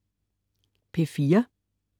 P4: